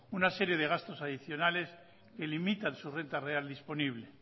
una serie de gastos adicionales que limitan su renta real disponible